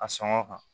A sɔngɔ kan